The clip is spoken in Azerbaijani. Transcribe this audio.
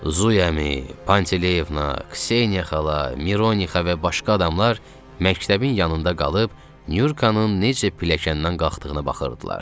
Zuymi, Pantileyevna, Kseniya xala, Mironixa və başqa adamlar məktəbin yanında qalıb Nurkanın necə pilləkəndən qalxdığına baxırdılar.